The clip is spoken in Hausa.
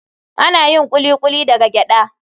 Ana yin Kuli kuli daga gyada.